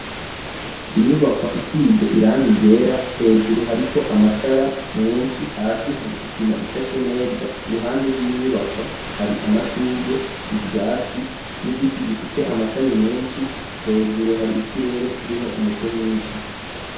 Inyubakwa isize irani ryera, hejuru hariko amatara menshi, hasi hari isima ishashe neza, iruhande rw'inyubakwa hari amashurwe, ivyatsi n'igiti gifise amashami menshi, hejuru hari ikirere kirimwo umuco mwinshi.